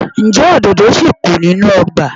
Ǹjẹ́ òdòdó ṣì kù nínú ọgbà?